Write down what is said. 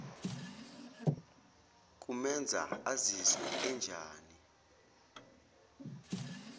kumenza azizwe enjani